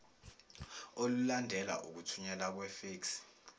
olulandela ukuthunyelwa kwefeksi